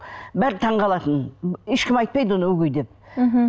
бәрі таңғалатын ешкім айтпайды оны өгей деп мхм